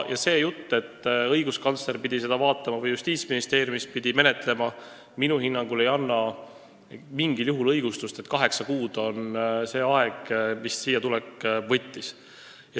See jutt, et õiguskantsler pidi seda vaatama või Justiitsministeeriumis pidi seda menetlema, minu hinnangul ei ole mingil juhul õigustus sellele, et siiatulek võttis aega kaheksa kuud.